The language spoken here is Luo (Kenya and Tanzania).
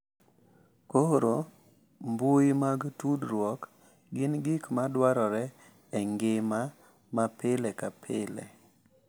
Koro mbui mag tudruok gin gik ma dwarore e ngima ma pile ka pile